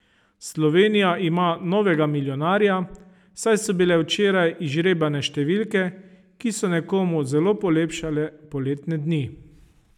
Slovenija ima novega milijonarja, saj so bile včeraj izžrebane številke, ki so nekomu zelo polepšale poletne dni.